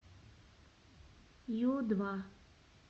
ю два